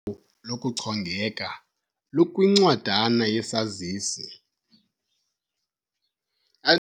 lokuchongeka lukwincwadana yesazisi.